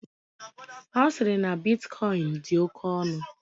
Osiri na bitcoin dị oke ọnụ.